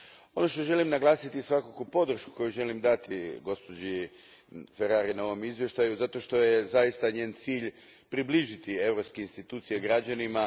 Ono što želim naglasiti je svakako podrška koju želim dati gospođi Ferrari na ovom izvještaju zato što je zaista njen cilj približiti europske institucije građanima.